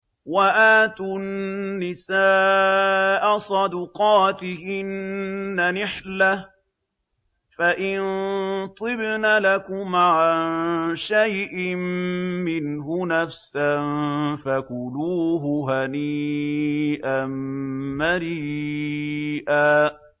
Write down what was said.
وَآتُوا النِّسَاءَ صَدُقَاتِهِنَّ نِحْلَةً ۚ فَإِن طِبْنَ لَكُمْ عَن شَيْءٍ مِّنْهُ نَفْسًا فَكُلُوهُ هَنِيئًا مَّرِيئًا